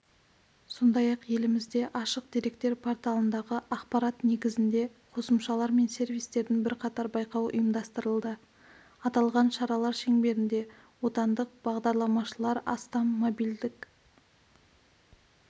сондай-ақ елімізде ашық деректер порталындағы ақпарат незігінде қосымшалар мен сервистердің бірқатар байқауы ұйымдастырылды аталған шаралар шеңберінде отандық бағдарламашылар астам мобильдік